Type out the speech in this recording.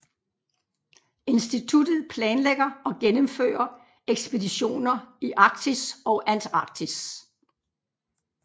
Instituttet planlægger og gennemfører ekspeditioner i Arktis og Antarktis